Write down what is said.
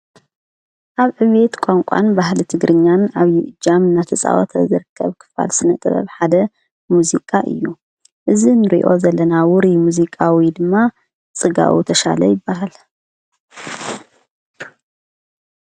ኣብ ዕቤት ቛንቋን ባህሊ እት ግርኛን ኣብ ይ እጃም ናተፃዖተ ዘርከብ ክፋል ስነጥበብ ሓደ ሙዚቃ እዩ እዝ ንሪዮ ዘለናውሪ ሙዚቃዊ ድማ ጽጋኡ ተሻለ ይበሃል።